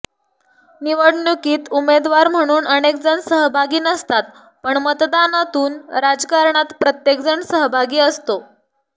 निवडणुकीत उमेदवार म्हणून अनेकजण सहभागी नसतात पण मतदानातून राजकारणात प्रत्येकजण सहभागी असतो